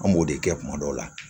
An b'o de kɛ kuma dɔw la